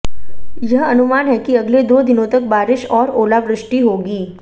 यह अनुमान है कि अगले दो दिनों तक बारिश और ओलावृष्टि होगी